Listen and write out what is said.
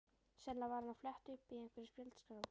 Sennilega var hann að fletta upp í einhverri spjaldskrá.